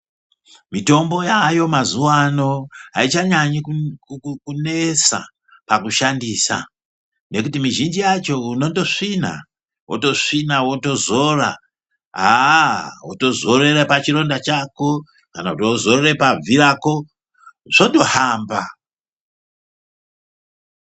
Mitombo yayo mazuva ano haichanyanyi kunesa pakushandisa. Nekuti mizhinji yacho unondosvina votosvina votozora haa votozorera pachironda chako. Kana kuti vozorera pabvirako zvotohamba.